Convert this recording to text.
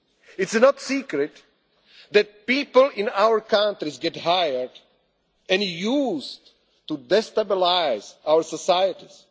political parties. It is no secret that people in our countries get hired and used to destabilise